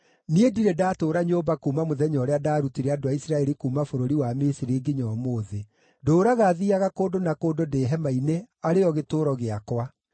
Niĩ ndirĩ ndatũũra nyũmba kuuma mũthenya ũrĩa ndaarutire andũ a Isiraeli kuuma bũrũri wa Misiri nginya ũmũthĩ. Ndũũraga thiiaga kũndũ na kũndũ ndĩ hema-inĩ arĩ yo gĩtũũro gĩakwa.